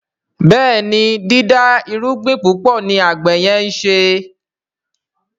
Béèni dida irúgbìn púpọ ní àgbè yen nṣe.